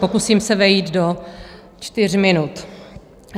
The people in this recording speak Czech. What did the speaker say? Pokusím se vejít do čtyř minut.